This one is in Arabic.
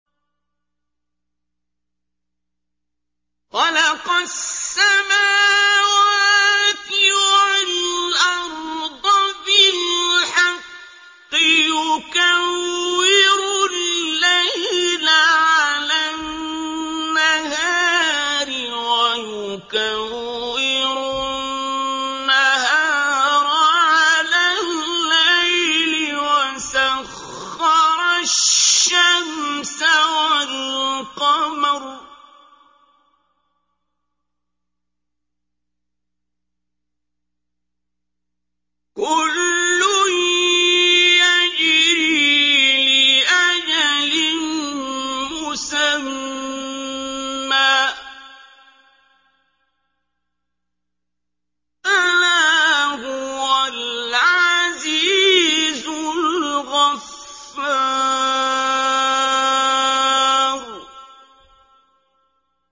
خَلَقَ السَّمَاوَاتِ وَالْأَرْضَ بِالْحَقِّ ۖ يُكَوِّرُ اللَّيْلَ عَلَى النَّهَارِ وَيُكَوِّرُ النَّهَارَ عَلَى اللَّيْلِ ۖ وَسَخَّرَ الشَّمْسَ وَالْقَمَرَ ۖ كُلٌّ يَجْرِي لِأَجَلٍ مُّسَمًّى ۗ أَلَا هُوَ الْعَزِيزُ الْغَفَّارُ